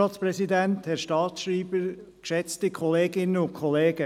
Sprecher der Kommissionsminderheit der SAK.